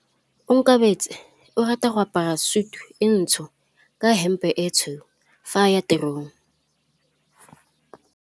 Onkabetse o rata go apara sutu e ntsho ka hempe e tshweu fa a ya tirong.